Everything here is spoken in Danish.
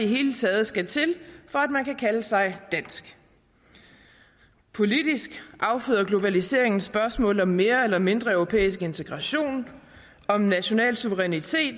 hele taget skal til for at man kan kalde sig dansk politisk afføder globaliseringen spørgsmålet om mere eller mindre europæisk integration om national suverænitet